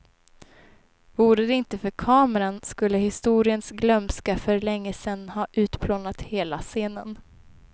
Vore det inte för kameran skulle historiens glömska för längesen ha utplånat hela scenen.